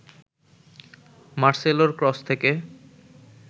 মার্সেলোর cross থেকে